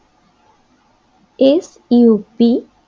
sup